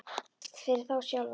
Það er þá verst fyrir þá sjálfa.